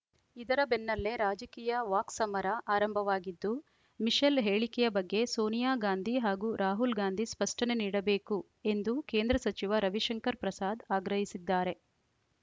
ಇದರ ಬೆನ್ನಲ್ಲೇ ರಾಜಕೀಯ ವಾಕ್ಸಮರ ಆರಂಭವಾಗಿದ್ದು ಮಿಶೆಲ್‌ ಹೇಳಿಕೆಯ ಬಗ್ಗೆ ಸೋನಿಯಾ ಗಾಂಧಿ ಹಾಗೂ ರಾಹುಲ್‌ ಗಾಂಧಿ ಸ್ಪಷ್ಟನೆ ನೀಡಬೇಕು ಎಂದು ಕೇಂದ್ರ ಸಚಿವ ರವಿಶಂಕರ ಪ್ರಸಾದ್‌ ಆಗ್ರಹಿಸಿದ್ದಾರೆ